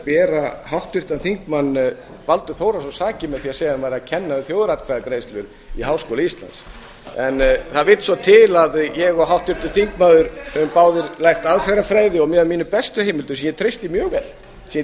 bera háttvirtur þingmaður baldur þórhallsson sakir með því að segja að hann væri að kenna þjóðaratkvæðagreiðslu í háskóla íslands en það vill svo til að ég og háttvirtur þingmaður höfum báðir lært aðferðafræði og eftir mínum bestu heimildum sem ég